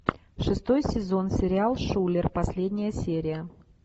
шестой сезон сериал шулер последняя серия